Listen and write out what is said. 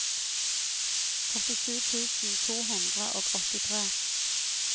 førtisju tusen to hundre og åttitre